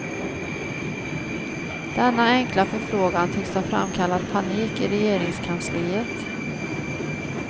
Denna enkla förfrågan tycks ha framkallat panik i regeringskansliet.